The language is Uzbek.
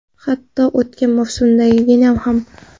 Hatto o‘tgan mavsumdagidan ham.